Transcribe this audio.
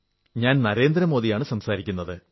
ഞാൻ നരേന്ദ്ര മോദിയാണു സംസാരിക്കുന്നത്